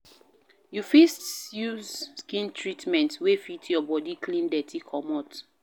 you fit use skin treatment wey fit your body clean dirty comot